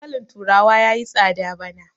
dankalin turawa ya yi tsada bana